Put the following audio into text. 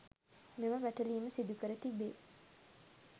මෙම වැටලීම සිදුකර තිබේ.